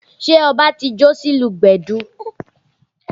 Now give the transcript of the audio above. Ṣé ọbá ti jó sí ìlù gbẹ̀du?